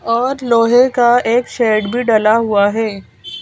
और लोहे का एक शेड भी डला हुआ है।